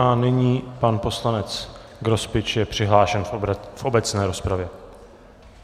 A nyní pan poslanec Grospič je přihlášen v obecné rozpravě.